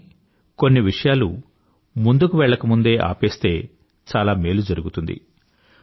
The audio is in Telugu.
కానీ కొన్ని విషయాలు ముందుకు వెళ్లకముందే ఆపేస్తే చాలా మేలు జరుగుతుంది